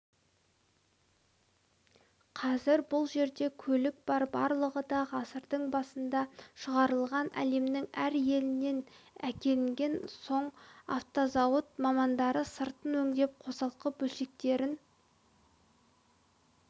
қазір бұл жерде көлік бар барлығы да ғасырдың басында шығарылған әлемнің әр елінен әкелінген соң автозауыт мамандары сыртын өңдеп қосалқы бөлшектерін